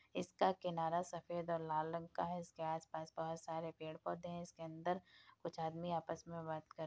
इसका किनारा सफ़ेद और लाल रंग का है इसके आस-पास बहुत सारे पेड़-पौधे हैं इसके अंदर कुछ आदमी आपस में बात कर --